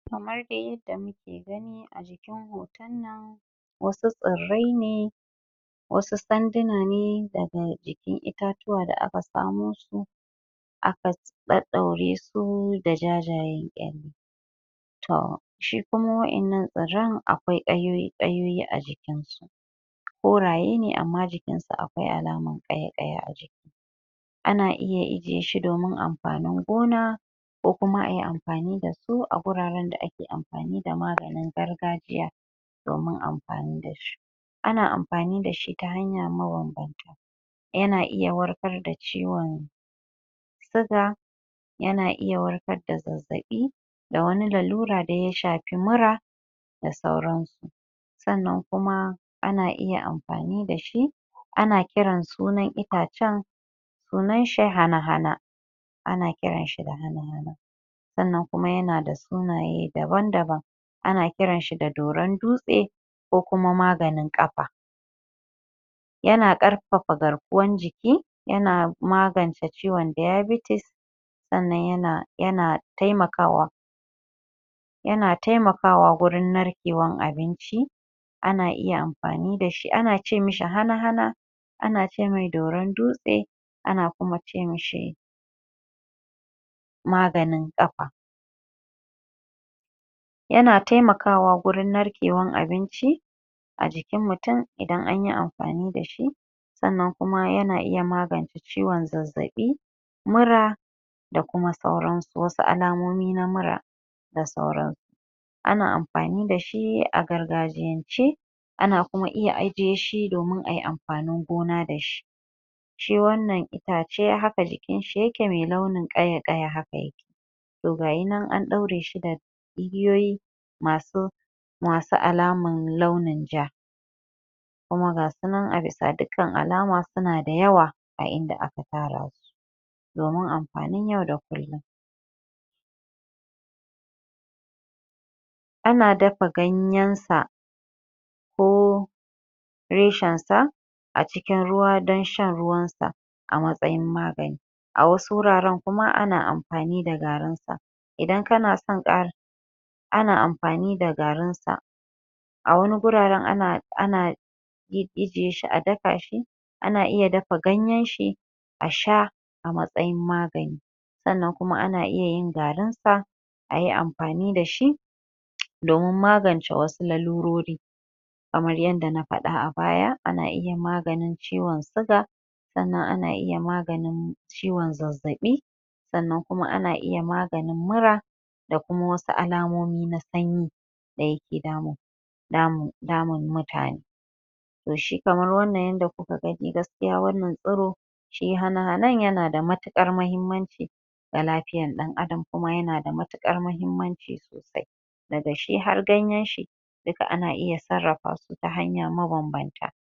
kamar dai yadda muke gani a jikin hoton nan wasu tsirrai ne wasu sanduna ne daga jikin itatuwa da aka samo aka ɗaɗɗaure su da jajayen ƙyalle to shi kuma waɗannan tsirran akwai ƙayoyi - ƙayoyi a jikin su koraye ne amma jikin su alaman ƙaya-ƙaya a jiki a na iya ijiye shi domin amfanin gona ko kuma ayi amfani da su a guraren da ake amfani da maganin gargajiya domin amfani da shi ana amfani da shi ta hanya mabanbanta ya na iya warkar da ciwon suga yana iya warkar da zazzaɓi da wani lalura da ya shafi mura da sauransu sannan kuma ana iya amfani da shi ana kiran sunan itacen sunan shi hana-hana ana kiran shi da hana-hana sannan kuma ya na da sunaye daban-daban ana kiran shi doron dutse ko kuma maganin ƙafa ya na ƙarfafa garkuwan jiki ya na magance ciwon dayabitis sannan ya na taimakawa ya na taimakawa wurin narkewan abinci ana iya amfani da shi ana ce mishi hana-hana ana ce mai doron dutse ana kuma ce mishi maganin ƙafa ya na taimakawa wurin narkewan abinci a jikin mutum idan anyi amfani da shi sannan kuma ya iya magance ciwon zazzaɓi mura da kuma sauran su wasu alamomi na mura da sauran su ana amfani da shi a gargajiyance ana kuma iya ajiye shi domin ayi amfanin gona da shi shi wannan itace haka jikin shi yake mai launin ƙaya-ƙaya haka ya ke to ga yi nan an ɗaure shi da igiyoyi masu alaman launin ja kuma ga su nan a bisa dukkan alama suna da yawa a inda aka tara su domin amfanin yau da kullum ana dafa ganyen sa ko reshen sa a cikin ruwa don shan ruwan sa a matsayin magani a wasu wuraren kuma ana amfani da garin sa idan kana son??? ana amfani da garin sa a wani guraren ana ijiye shi a daka shi ana iya dafa ganyen shi a sha a matsayin magani sannan kuma ana iya garin sa ayi amfani da shi domin magance wasu larurori kamar yanda na faɗa a baya ana iya maganin ciwon suga sannan ana iya maganin ciwon zazzaɓi sannan kuma ana iya maganin mura da kuma wasu alamomi na sanyi da ya ke damun mutane da shi kamar wannan yanda kuka gani gaskiya wannan tsiro shi hana-hanan yana da matuƙar muhimmanci a lafiyan ɗan adam kuma ya na da matuƙar muhimmanci sosai daga shi har ganyen shi duka ana iya sarrafa su ta hanya mabanbanta